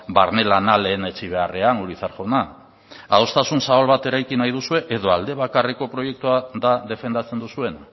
barne lana lehenetsi beharrean urizar jauna adostasun zabal bat eraiki nahi duzue edo aldebakarreko proiektua da defendatzen duzuena